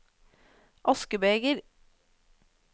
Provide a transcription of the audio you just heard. askebeger